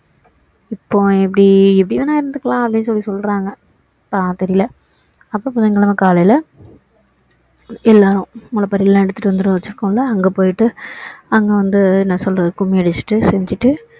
இப்போ எப்படி எப்படி வேணா இருந்துக்கலாம் அப்படின்னு சொல்லி சொல்றாங்க தெரியல அப்பறோம் புதன் கிழமை காலையில எல்லரும் முளைப்பாறைலாம் எடுத்துட்டு வந்து வச்சி இருக்கோம்ல அங்க போயிட்டு அங்க வந்து என்ன சொல்றது கும்மி அடிச்சிட்டு செஞ்சிட்டு